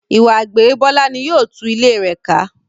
Ìwà àgbèrè Bọ́lá ní yóò tu ilé rẹ ká.